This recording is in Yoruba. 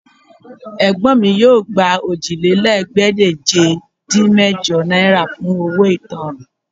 Ẹ̀gbọ́n mi yóò gba Òjìlélẹ́ẹ̀ẹ́dégbèje-dín-mẹ́jọ náírà fún owó ìtanràn